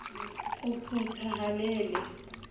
o puta ha le le